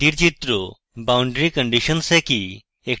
boundary conditions একই